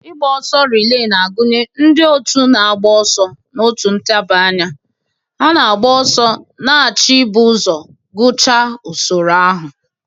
ịgba ọsọ relee na-agụnye ndị otu na-agba ọsọ n'otu ntabi anya na-agba ọsọ, na-achọ ibu ụzọ gụchaa usoro ahụ.